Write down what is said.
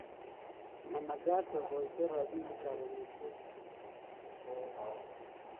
mamekat akoito robinikab amitwigik